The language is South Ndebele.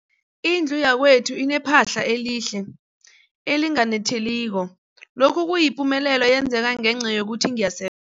Indlu yakwethu inephahla elihle, elinganetheliko, lokhu kuyipumelelo eyenzeke ngenca yokuthi ngiyase